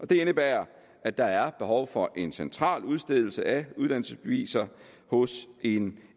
det indebærer at der er behov for en central udstedelse af uddannelsesbeviser hos en